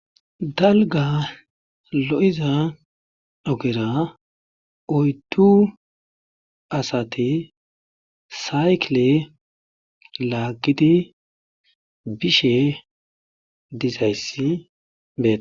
Dalgga lo'iza oggera oydu asati saykile laagidi bishe dizayssi beetees.